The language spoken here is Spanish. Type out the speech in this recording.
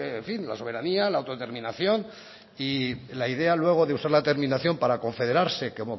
en fin la soberanía la autodeterminación y la idea luego de usar la terminación para confederarse como